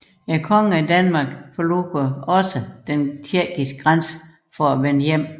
Kongen af Danmark forlod også den tjekkiske grænse for at vende hjem